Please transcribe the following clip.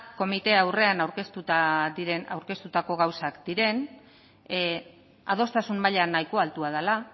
komite aurrean aurkeztutako gauzak diren adostasun maila nahiko altua dela